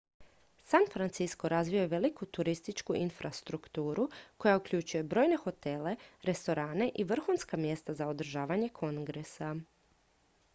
san francisco razvio je veliku turističku infrastrukturu koja uključuje brojne hotele restorane i vrhunska mjesta za održavanje kongresa